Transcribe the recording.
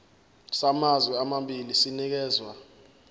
samazwe amabili sinikezwa